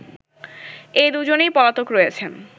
এ দুজনেই পলাতক রয়েছেন